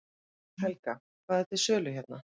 Helga: Hvað er til sölu hérna?